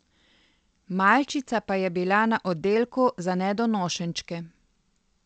Malčica pa je bila na oddelku za nedonošenčke.